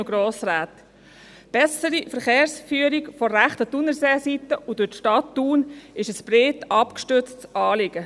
Die bessere Verkehrsführung von der rechten Thunerseeseite durch die Stadt Thun ist ein breit abgestütztes Anliegen.